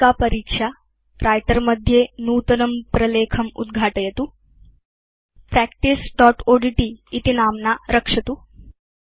व्यापिका परीक्षा व्रिटर मध्ये नूतनं प्रलेखम् उद्घाटयतु practiceओड्ट् इति नाम्ना रक्षतु